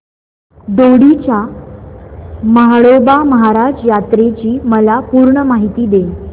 दोडी च्या म्हाळोबा महाराज यात्रेची मला पूर्ण माहिती दे